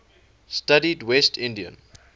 studied west indian